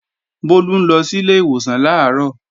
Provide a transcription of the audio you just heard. Bólú ń lọ sílé ìwòsàn làárọ̀